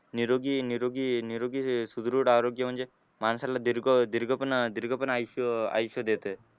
निरोगी निरोगी निरोगी सुदृढ आरोग्य म्हणजे माणसाला दीर्घ दीर्घ पण दीर्घ पण आयुष्य आयुष्य देते.